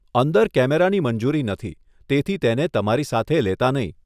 અંદર કેમેરાની મંજૂરી નથી તેથી તેને તમારી સાથે લેતાં નહીં.